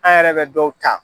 An yɛrɛ bɛ dɔw ta.